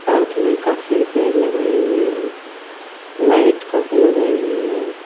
Park में काफी पेड़ लगाए हुए हैं लाइट काफी लगाई हुई हैं।